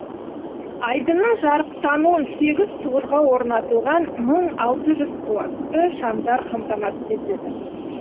айдынның жарықтануын сегіз тұғырға орнатылған мың алты жүз қуатты шамдар қамтамасыз етеді